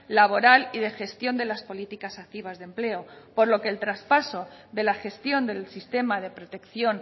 laboral y de gestión de las políticas activas de empleo por lo que el traspaso de la gestión del sistema de protección